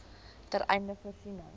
ten einde voorsiening